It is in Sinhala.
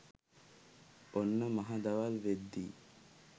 ඔන්න මහ දවල් වෙද්දි